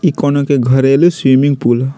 इ कोनो के घरेलु स्विमिंग पुल हअ।